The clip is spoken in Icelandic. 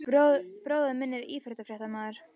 Bróðir minn er íþróttafréttamaður.